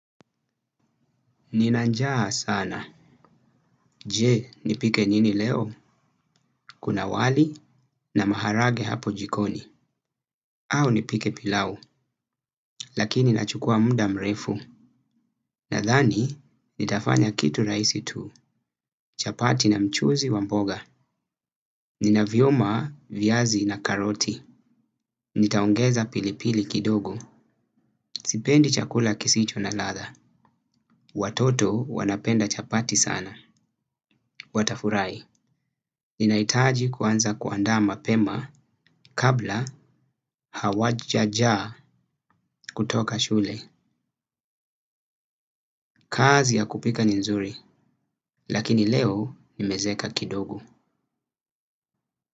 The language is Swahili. Ninanjaa sana. Je, nipike nini leo? Kuna wali na maharage hapo jikoni. Au nipike pilau, lakini nachukua mda mrefu. Nadhani, nitafanya kitu raisi tu. Chapati na mchuzi wa mboga. Nina vyoma, vyazi na karoti. Nitaongeza pilipili kidogo. Sipendi chakula kisicho na latha. Watoto wanapenda chapati sana. Watafurai, ninaitaji kuanza kuanda mapema kabla hawajaja kutoka shule. Kazi ya kupika ni nzuri, lakini leo nimezeka kidogo.